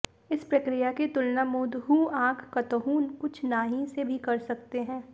इस प्रक्रिया की तुलना मूंदहूं आंख कतहूं कुछ नाहीं से भी कर सकते हैं